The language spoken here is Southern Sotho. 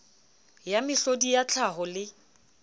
ya mehlodi ya tlhaho le